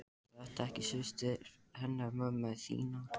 Er þetta ekki systir hennar mömmu þinnar?